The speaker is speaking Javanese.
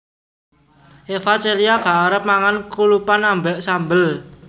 Eva Celia gak arep mangan kulupan ambek sambel